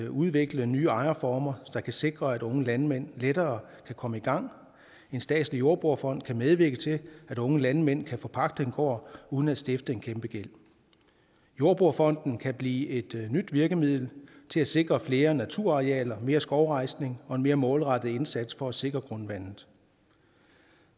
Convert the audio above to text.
udvikle nye ejerformer der kan sikre at unge landmænd lettere kan komme i gang en statslig jordbrugerfond kan medvirke til at unge landmænd kan forpagte en gård uden at stifte en kæmpegæld jordbrugerfonden kan blive et nyt virkemiddel til at sikre flere naturarealer mere skovrejsning og en mere målrettet indsats for at sikre grundvandet